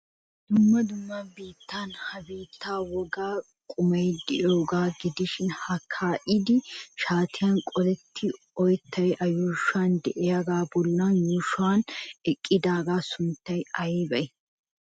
Dumma dumma biittan he biittaa wogaa qumay de'iyagaa gidishin ha kaa'idi shaatiyan qolettidi oyttaykka A yuushuwan de'iyogaa bollan yuushuwan eqqidaagaa sunttay aybee?